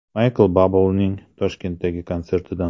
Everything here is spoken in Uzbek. Maykl Bublening Toshkentdagi konsertidan.